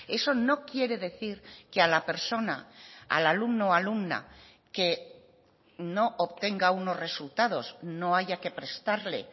eso no quiere decir que a la persona al alumno alumna que no obtenga unos resultados no haya que prestarle